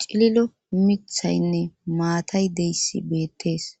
cililo mithaynne maatay deyssi beettees.